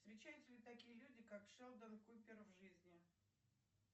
встречаются ли такие люди как шелдон купер в жизни